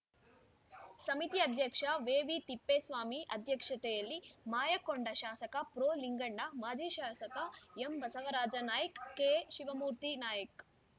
ಸಮಿತಿ ಅಧ್ಯಕ್ಷ ವೇವಿತಿಪ್ಪೇಸ್ವಾಮಿ ಅಧ್ಯಕ್ಷತೆಯಲ್ಲಿ ಮಾಯಕೊಂಡ ಶಾಸಕ ಪ್ರೊಲಿಂಗಣ್ಣ ಮಾಜಿ ಶಾಸಕ ಎಂಬಸವರಾಜ ನಾಯ್ಕ ಕೆಶಿವಮೂರ್ತಿ ನಾಯ್ಕ